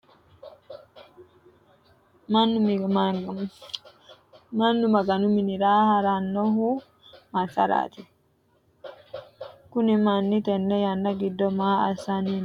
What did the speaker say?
Mannu maganu minnira haranohu masaraati? Kunni manni tenne yanna gido maa assanni no? Kunni manni mayi aanna ofole no? Guluphite noo mancho goowaho maa wodhite no?